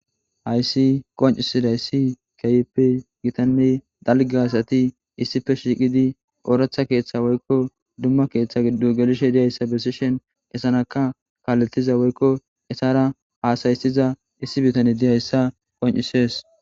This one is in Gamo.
Hayssi qoncisiday issi kayeppe gitanney dalge hasati issife shiiqidi ooratha keeththa woykko dumma keeththa giddo gelishe diyayssa besishen esanaka kaaletiza woykko esara haasaysiza issi bitane diyayssa qoncisees